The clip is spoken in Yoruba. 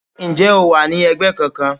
Ǹjẹ́ o wà ní ẹgbẹ́ kankan?